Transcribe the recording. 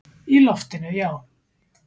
Í loftinu, já.